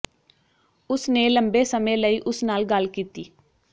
ਉਸ ਨੇ ਲੰਬੇ ਸਮੇਂ ਲਈ ਉਸ ਨਾਲ ਗੱਲ ਕੀਤੀ